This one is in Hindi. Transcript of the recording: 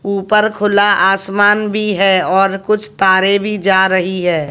ऊपर खुला आसमान भी है और कुछ तारे भी जा रही है।